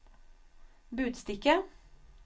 budstikke